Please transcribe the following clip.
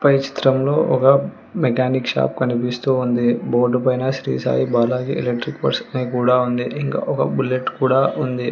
పై చిత్రంలో ఒక mechanic shop కనిపిస్తూ ఉంది బోర్డు పైన శ్రీ సాయి బాలాజీ రెడ్డి ఫస్ట్ నైట్ కూడా ఉంది ఇంకా ఒక బుల్లెట్ కూడా ఉంది.